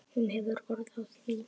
Hún hefur orð á því.